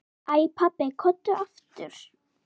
Æ pabbi, komdu aftur.